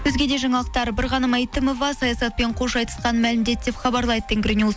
өзге де жаңалықтар бірғаным мәйтімова саясатпен қош айтысқанын мәлімдеді деп хабарлайды тенгринюс